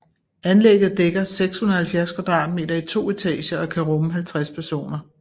Anlægget dækker 670 kvadratmeter i to etager og kan rumme 50 personer